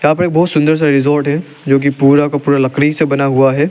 यहां पे एक बहोत सुन्दर सा रिसोर्ट है जोकि पुरा का पुरा लकड़ी से बना हुआ है।